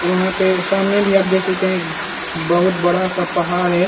और यहाँ पे सामने भी आप देख सकते हैं बहुत बड़ा सा पाहार है।